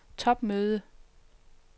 topmøde